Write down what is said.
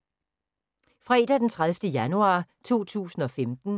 Fredag d. 30. januar 2015